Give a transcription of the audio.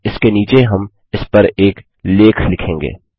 और इसके नीचे हम इसपर एक लेख लिखेंगे